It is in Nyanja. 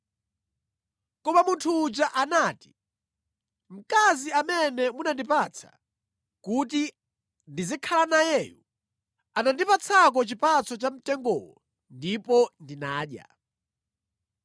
Koma munthu uja anati, “Mkazi amene munandipatsa kuti ndizikhala nayeyu anandipatsako chipatso cha mtengowo ndipo ndinadya.”